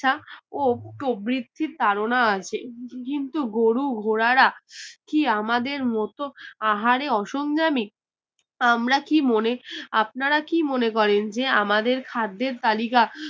ছা ও প্রভিতি তাড়না আছে কিন্তু গুরু ঘোড়ারা কি আমাদের মত আহারে অসংজামি আমরা কি মনে আপনারা কি মনে করেন জে আমাদের খাদের তালিকা